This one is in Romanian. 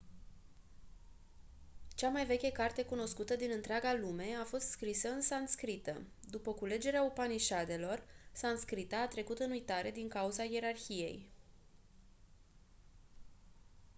cea mai veche carte cunoscută din întreaga lume a fost scrisă în sanscrită după culegerea upanișadelor sanscrita a trecut în uitare din cauza ierarhiei